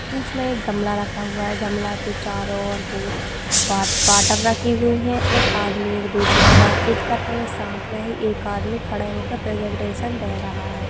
बीच में एक गामला रखा हुआ है गामला के चारों और बो वाड़ वाटर रखी हुई है और आदमी एक दूसरे से बात कर रहा है सामने ही एक आदमी खड़ा हो कर प्रेजेंटेशन दे रहा है।